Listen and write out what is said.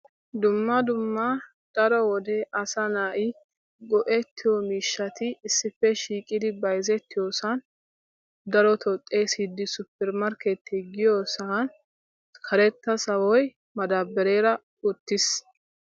Dumma dumma daro wode asa nay go"ettiyo miishshati issippe shiiqida bayzzetiyoosa darotto. xeessidi suppermarkketiya giyosan karetta sawoy madabareera uttiis.